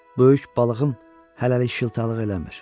Böyük balığım hələlik şıltaqlıq eləmir.